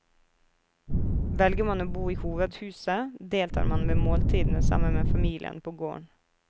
Velger man å bo i hovedhuset, deltar man ved måltidene sammen med familien på gården.